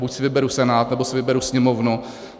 Buď si vyberu Senát, anebo si vyberu Sněmovnu.